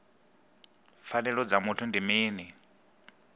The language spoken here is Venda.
pfanelo dza muthu ndi mini